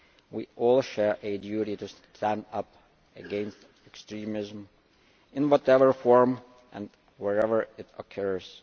We all share a duty to stand up against extremism in whatever form and wherever it occurs.